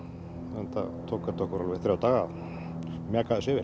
enda tók þetta okkur alveg þrjá daga að mjaka þessu yfir